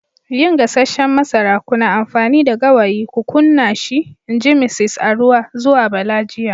yin gasasshen masara, kuna amfani da gawayi ku kunna shi in ji Misis Aruwa zuwa Bala jiya.